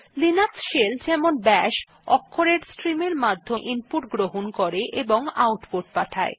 Linux shell যেমন bash অক্ষরের stream এর মাধ্যমে ইনপুট গ্রহণ করে ও আউটপুট পাঠায়